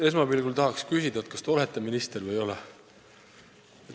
Esmapilgul tahaks küsida, kas te olete minister või ei ole.